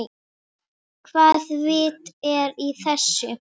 Fjöldi manns flýði land.